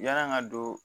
Yann'an ka don